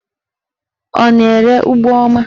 Ọ na-ere ụgbọma?